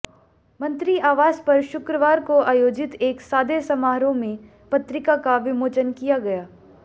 मंत्री आवास पर शुक्रवार को आयोजित एक सादे समारोह में पत्रिका का विमोचन किया गया